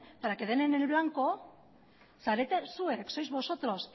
para que den en el blanco zarete zuek sois vosotros